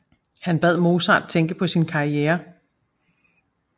Han bad Mozart tænke på sin karriere